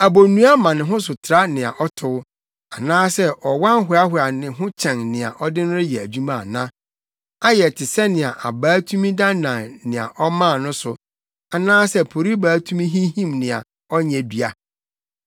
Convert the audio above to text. Abonnua ma ne ho so tra nea ɔtow, anaasɛ ɔwan hoahoa ne ho kyɛn nea ɔde no yɛ adwuma ana? Ayɛ te sɛnea abaa tumi dannan nea ɔmaa no so, anaasɛ poribaa tumi hinhim nea ɔnyɛ dua!